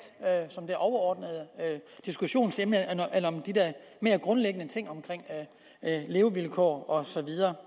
som det overordnede diskussionsemne end om de der mere grundlæggende ting omkring levevilkår og så videre